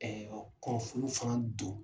Ɛɛ kɔnfulu fana don